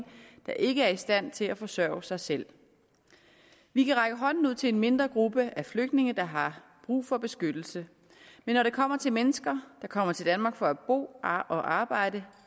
der ikke er i stand til at forsørge sig selv vi kan række hånden ud til en mindre gruppe af flygtninge der har brug for beskyttelse men når det kommer til mennesker der kommer til danmark for at bo og arbejde